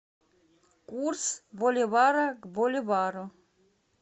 курс боливара к боливару